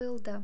қойылды